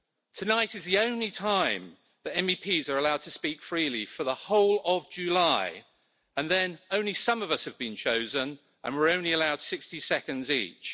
Tonight is the only time that MEPs are allowed to speak freely for the whole of July, and then only some of us have been chosen and we're only allowed 60 seconds each.